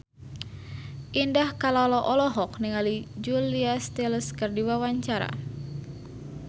Indah Kalalo olohok ningali Julia Stiles keur diwawancara